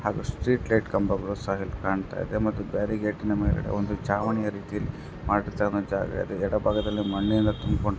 ಹಾಗು street light ಕಂಬಗಳು ಸಹ ಇಲ್ಲಿ ಕಾಣತ್ತಿದೆ ಮತ್ತು ಬ್ಯಾರಿಕೇಡ್ ಒಂದು ಚಾವಣಿಯ ರೀತಿಯಲ್ಲಿ ಎಡಬಾಗದಲ್ಲಿ ಮಣ್ಣಿನ ತುಂಬಕೊಂಡಿದೆ.